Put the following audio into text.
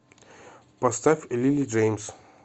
поставь лили джэймс